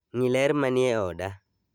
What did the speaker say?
Ng'i ler manie oda